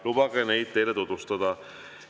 Lubage neid teile tutvustada.